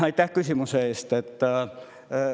Aitäh küsimuse eest!